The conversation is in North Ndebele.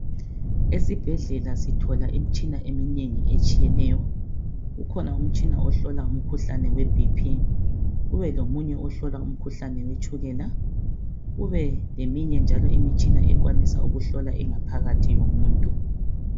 Esibhedlela sithola imitshina eminengi etshiyeneyo kukhona umtshina ohlola umkhuhlane weBP kube lomunye ohlola umkhuhlane wetshukela kube leminye njalo imitshina ekwanisa ukuhlola ingaphakathi yomuntu.